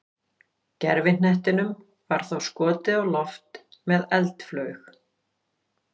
Gervihnettinum var þá skotið á loft með eldflaug.